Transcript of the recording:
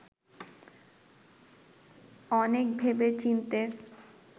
অনেক ভেবে-চিন্তে